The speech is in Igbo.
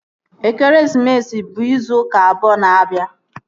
Ekeresimesi bụ izu ụka abụọ na-abịa